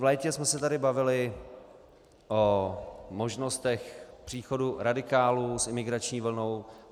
V létě jsme se tady bavili o možnostech příchodu radikálů s imigrační vlnou.